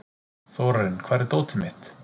Þórarinn, hvar er dótið mitt?